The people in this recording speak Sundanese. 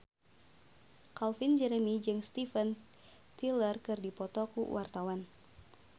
Calvin Jeremy jeung Steven Tyler keur dipoto ku wartawan